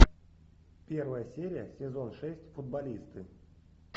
первая серия сезон шесть футболисты